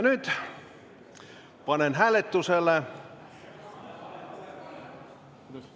Nüüd panen avalduse hääletusele.